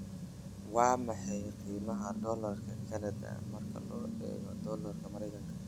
waa maxay qiimaha Doolarka Kanada marka loo eego Doolarka Maraykanka